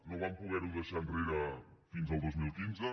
no vam poder ho deixar enrere fins al dos mil quinze